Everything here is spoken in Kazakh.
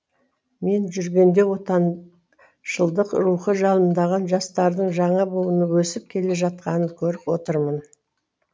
мен жүргенде отан шылдық рухы жалындаған жастардың жаңа буыны өсіп келе жатқанын көріп отырмын